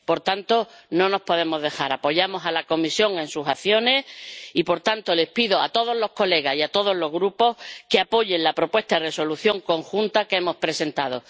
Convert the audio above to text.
Por tanto, no nos podemos dejar avasallar. Apoyamos a la Comisión en sus acciones y, por tanto, les pido a todos los diputados y a todos los grupos que apoyen la propuesta de Resolución común que hemos presentado.